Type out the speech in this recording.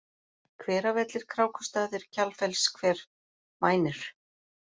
Hveravellir, Krákustaðir, Kjalfellsver, Mænir